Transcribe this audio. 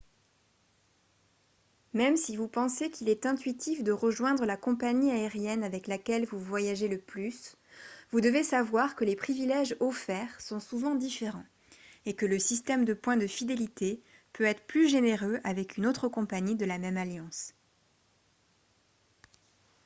même si vous pensez qu'il est intuitif de rejoindre la compagnie aérienne avec laquelle vous voyagez le plus vous devez savoir que les privilèges offerts sont souvent différents et que le système de points de fidélité peut être plus généreux avec une autre compagnie de la même alliance